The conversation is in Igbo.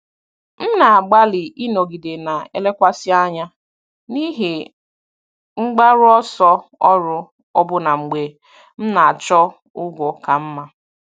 M na-agbalị ịnọgide na-elekwasị anya n'ihe mgbaru ọsọ ọrụ ọbụna mgbe m na-achọ ụgwọ ka mma.